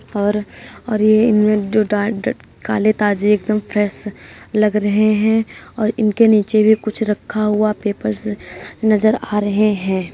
और और ये इनमें जो डॉट -डॉट काले ताजे एकदम फ्रेश लग रहे हैं और इनके नीचे भी कुछ रखा हुआ पेपर्स नजर आ रहे हैं।